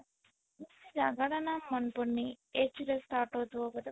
ଜାଗା ଟା ନାଁ ମନେ ପଡୁନି H ରେ start ହଉଥିବ ବୋଧେ